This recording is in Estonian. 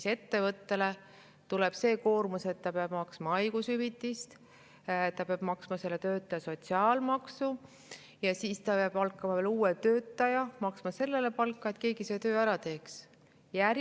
Ehk ettevõttele tuleb see koormus, et ta peab maksma haigushüvitist, ta peab maksma töötaja sotsiaalmaksu ning siis ta peab palkama veel uue töötaja, et keegi selle töö ära teeks, ja maksma temale palka.